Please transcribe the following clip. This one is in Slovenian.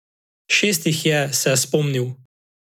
Šest jih je, se je spomnil.